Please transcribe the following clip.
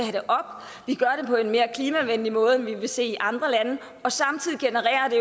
have en mere klimavenlig måde end vi vil se i andre lande og samtidig genererer det